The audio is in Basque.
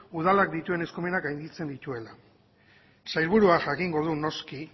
udalak dituen eskumenak gainditzen dituela sailburuak jakingo du noski